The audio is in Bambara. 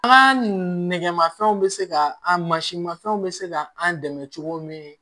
An ka nɛgɛmafɛnw be se ka an mansinmafɛnw bɛ se ka an dɛmɛ cogo min